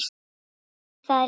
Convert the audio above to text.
Takk fyrir það líka.